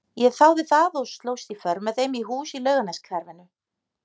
Ég þáði það og slóst í för með þeim í hús í Laugarneshverfinu.